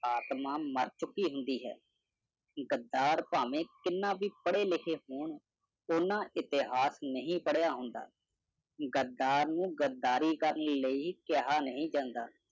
ਆਤਮਾ ਮਰ ਚੁੱਕੀ ਹੁੰਦੀ ਹੈ। ਗੱਦਾਰ ਭਾਵੇਂ ਕਿੰਨਾ ਵੀ ਪੜੇ ਲਿਖੇ ਹੋਣ, ਉਹਨਾਂ ਇਤਿਹਾਸ ਨਹੀਂ ਪੜਿਆ ਹੁੰਦਾ। ਗੱਦਾਰ ਨੂੰ ਗੱਦਾਰੀ ਕਰਨ ਲਈ ਕਿਹਾ ਨਹੀ ਜਾਂਦਾ।